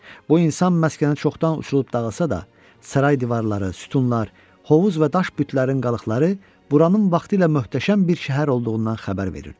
Bu insan məskəni çoxdan uçurulub dağılsa da, saray divarları, sütunlar, hovuz və daş bütlərin qalıqları buranın vaxtilə möhtəşəm bir şəhər olduğundan xəbər verirdi.